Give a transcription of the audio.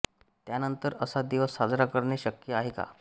त्यानंतर असा दिवस साजरा करणे शक्य आहे का